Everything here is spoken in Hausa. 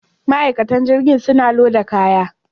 Ma'aikatan jirgin suna loda kayan.